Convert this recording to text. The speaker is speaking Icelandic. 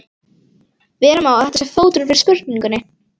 Vera má að þetta sé fóturinn fyrir spurningunni.